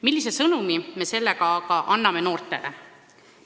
Millise sõnumi me sellega anname noortele?